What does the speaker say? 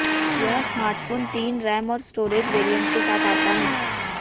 यह स्मार्टफोन तीन रैम और स्टोरेज वेरिएंट के साथ आता है